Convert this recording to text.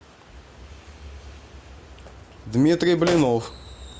дмитрий блинов